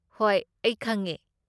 ꯍꯣꯏ ꯑꯩ ꯈꯪꯉꯦ꯫